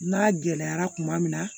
N'a gɛlɛyara tuma min na